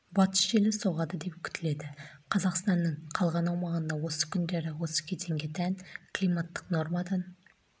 батыс желі соғады деп күтіледі қазақстанның қалған аумағында осы күндері осы кезеңге тән климаттық нормадан